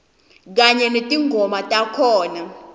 kanye netingoma takhona